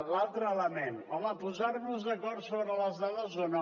l’altre element home posar nos d’acord sobre les dades o no